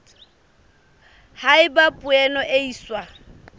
ha eba poone e iswa